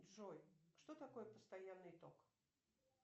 джой что такое постоянный ток